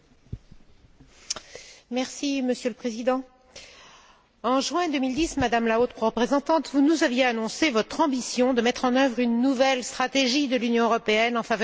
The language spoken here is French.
Monsieur le Président, en juin 2010, Madame la Haute représentante, vous nous aviez annoncé votre ambition de mettre en œuvre une nouvelle stratégie de l'Union européenne en faveur des droits de l'homme et de la démocratie.